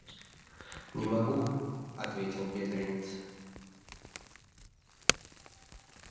не могу ответил бедренец